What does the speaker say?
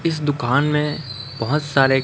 इस दुकान में बहोत सारे--